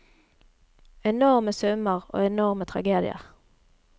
Enorme summer, og enorme tragedier.